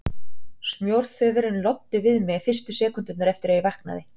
Smjörþefurinn rétt loddi við mig fyrstu sekúndurnar eftir að ég vaknaði.